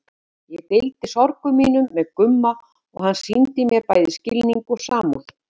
Ég deildi sorgum mínum með Gumma og hann sýndi mér bæði skilning og samúð.